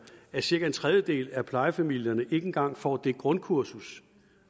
at cirka en tredjedel af plejefamilierne ikke engang får det grundkursus